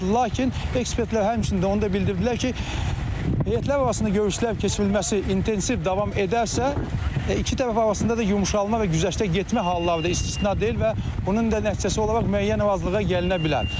Lakin ekspertlər həmçinin də onu da bildirdilər ki, heyətlər arasında görüşlər keçirilməsi intensiv davam edərsə, iki tərəf arasında da yumşalma və güzəştə getmə halları da istisna deyil və bunun da nəticəsi olaraq müəyyən razılığa gəlinə bilər.